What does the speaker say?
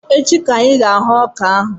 Echi ka anyị ga-arụ ọka ahụ